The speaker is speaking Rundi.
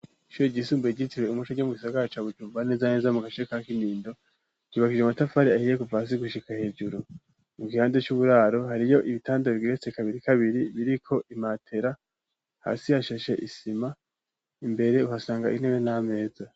Ishuri ryisumbuye gyitirwe umuce ryo mu gisagara cabujumbaneza neza mu gashe ka k'inindo ryubakije umatafari ahiye ku pasi gushika hejuru mu gihande c'uburaro hari yo ibitandabigirese kabiri kabiri biriko imatera hasi hashashe isima imbere uhasanga intebe n'ameza.